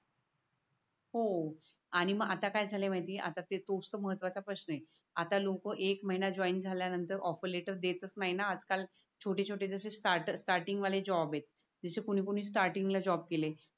हो आणि मग आता काय झालय माहिती ये आता तोच तर महत्व चा प्रश्न आहे. आता लोक एक महिना जॉईन झाल्या नंतर ऑफर लेटर देतच नाय ना आज काल छोटे छोटे जसे स्टार्ट स्टार्टींगवाले जॉब येत. जस कोणी कोणी स्टार्टींग ल जॉब केलेत.